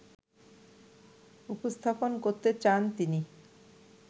উপস্থাপন করতে চান তিনি